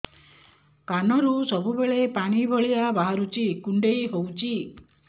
କାନରୁ ସବୁବେଳେ ପାଣି ଭଳିଆ ବାହାରୁଚି କୁଣ୍ଡେଇ ହଉଚି